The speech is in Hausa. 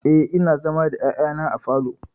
Eh, ina zama da ƴaƴana a falo.